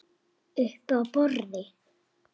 Uppi á borði?